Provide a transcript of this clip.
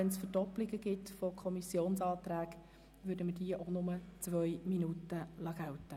Wenn es Verdoppelungen von Fraktionsanträgen gibt, würden wir für diese ebenfalls eine Redezeit von nur 2 Minuten gelten lassen.